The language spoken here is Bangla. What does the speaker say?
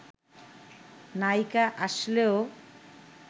নায়িকা আসলেও